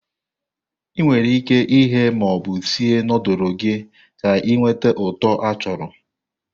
Ị nwere ike ighe ma ọ bụ sie nudulu gị ka ị nweta uto achọrọ.